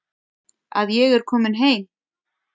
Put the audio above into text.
Að ég er komin heim.